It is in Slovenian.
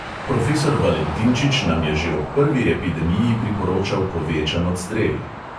Profesor valentinčič nam je že ob prvi epidemiji priporočal povečan odstrel.